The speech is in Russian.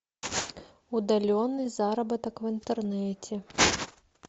удаленный заработок в интернете